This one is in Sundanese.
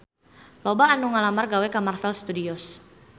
Loba anu ngalamar gawe ka Marvel Studios